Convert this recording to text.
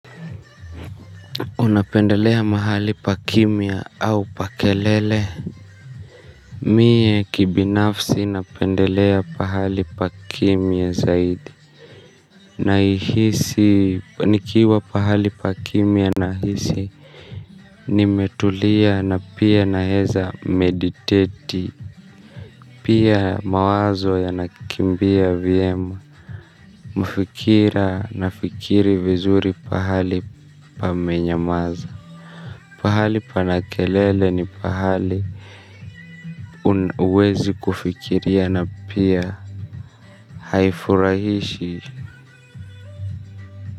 Unapendelea mahali pa kimia au pa kelele. Mie kibinafsi napendelea pahali pa kimia zaidi naihisi nikiwa pahali pa kimya nahisi. Nimetulia na pia naeza mediteti. Pia mawazo yanakimbia vyema. Mafikira nafikiri vizuri pahali pamenyamaza. Pahali pana kelele ni pahali un huwezi kufikiria na pia haifurahishi.